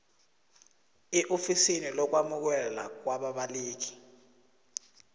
eofisini lokwamukelwa kwababaleki